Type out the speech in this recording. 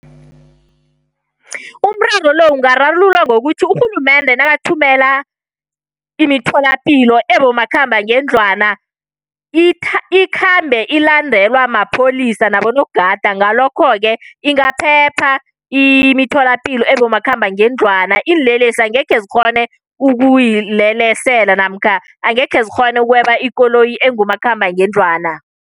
Umraro lo ungararululwa ngokuthi urhulumende nakathumela imitholapilo ebomakhambangendlwana, ikhambe ilandelwa mapholisa nabonogada ngalokho-ke ingaphepha imitholapilo ebomakhambangendlwana. Iinlelesi angekhe zikghone ukuyilelesela, namkha angekhe zikghone ukweba ikoloyi engumakhambangendlwana.